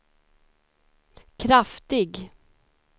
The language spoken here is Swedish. kraftig